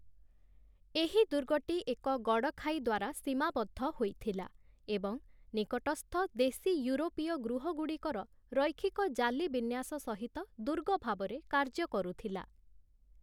ଏହି ଦୁର୍ଗଟି ଏକ ଗଡ଼଼ଖାଇ ଦ୍ୱାରା ସୀମାବଦ୍ଧ ହୋଇଥିଲା ଏବଂ ନିକଟସ୍ଥ ଦେଶୀ ୟୁରୋପୀୟ ଗୃହଗୁଡ଼ିକର ରୈଖିକ ଜାଲି ବିନ୍ୟାସ ସହିତ ଦୁର୍ଗ ଭାବରେ କାର୍ଯ୍ୟ କରୁଥିଲା ।